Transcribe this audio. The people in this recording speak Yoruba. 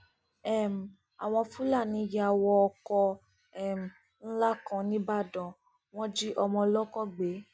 um àwọn fúlàní yà wọ ọkọ um ńlá kan nìbàdàn wọn jí ọmọ ọlọkọ gbé